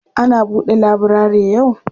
Ana buɗe laburare yau?